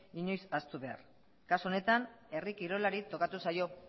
inoiz ahaztu behar kasu honetan herri kirolari tokatu zaio